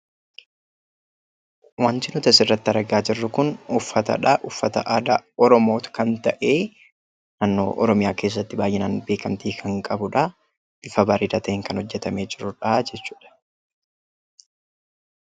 Wanti nuti asirratti argaa jirru kun uffatadha. Uffata aadaa Oromoo kan ta’e, naannoo Oromiyaa keessatti baay'inaan beekamtii kan qabudha. Bifa bareedaa ta'een kan hojjetamee jirudha jechuudha.